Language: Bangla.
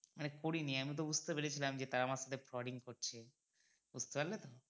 মানে করিনি আমি ওটা বুঝতে পেরেছিলাম যে তারা আমার সাথে frauding করছে বুঝতে পারলে তো